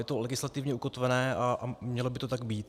Je to legislativně ukotvené a mělo by to tak být.